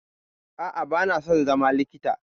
A'a, ba na son zama likita.